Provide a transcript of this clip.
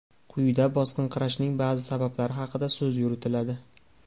Quyida bosinqirashning ba’zi sabablari haqida so‘z yuritiladi.